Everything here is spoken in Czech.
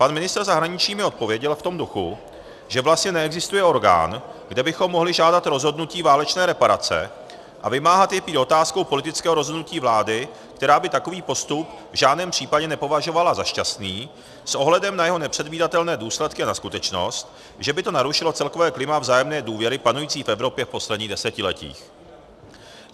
Pan ministr zahraničí mi odpověděl v tom duchu, že vlastně neexistuje orgán, kde bychom mohli žádat rozhodnutí válečné reparace, a vymáhat je prý otázkou politického rozhodnutí vlády, která by takový postup v žádném případě nepovažovala za šťastný s ohledem na jeho nepředvídatelné důsledky a na skutečnost, že by to narušilo celkové klima vzájemné důvěry panující v Evropě v posledním desetiletí.